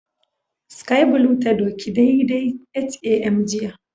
Sky blue ta doki daidai 8am jiya